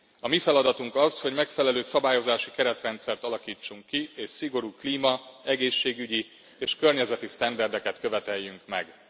A mi feladatunk az, hogy megfelelő szabályozási keretrendszert alakítsunk ki, és szigorú klíma egészségügyi és környezeti sztenderdeket követeljünk meg.